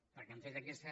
perquè hem fet aquesta